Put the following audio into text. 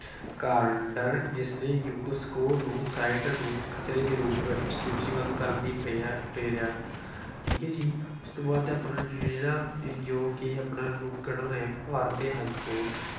ਜਿਸਨੇ UNESCO ਨੂੰ site ਨੂੰ ਖਤਰੇ ਦੇ ਰੂਪ ਵਿੱਚ ਸੂਚੀਬੱਧ ਕਰਨ ਦੀ ਦੇ ਰਿਹਾ। ਠੀਕ ਹੈ ਜੀ, ਇਸ ਤੋਂ ਬਾਅਦ ਆਪਣਾ ਜਿਹੜਾ ਜੋ ਕਿ ਆਪਣਾ ਨੇ ਭਾਰਤੀ ਹਾਈ ਕੋਰਟ